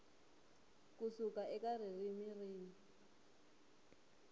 ku suka eka ririmi rin